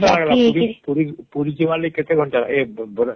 କେତେ ଘଣ୍ଟା ଲାଗିଲା ପୁରୀହମ୍ ପୁରୀ ଜିବା ଲାଗି କେତେ ଘଣ୍ଟା ଲାଗିଲା ଏ ବ୍ରା